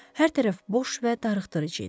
Hər tərəf boş və darıxdırıcı idi.